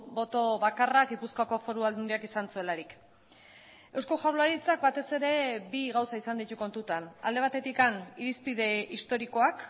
boto bakarra gipuzkoako foru aldundiak izan zuelarik eusko jaurlaritzak batez ere bi gauza izan ditu kontutan alde batetik irizpide historikoak